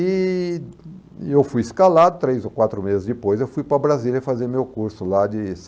E eu fui escalado, três ou quatro meses depois, eu fui para Brasília fazer meu curso lá de